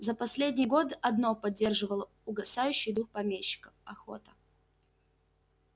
за последний год одно поддерживало угасающий дух помещика охота